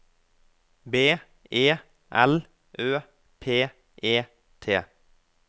B E L Ø P E T